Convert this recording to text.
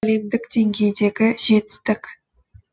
әлемдік деңгейдегі жетістік